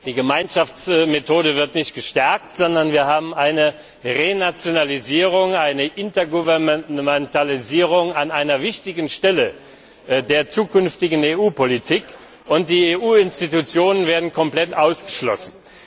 Die Gemeinschaftsmethode wird nicht gestärkt, sondern wir haben eine Renationalisierung, eine Intergouvernementalisierung an einer wichtigen Stelle der zukünftigen EU Politik und die EU Organe werden komplett ausgeschlossen.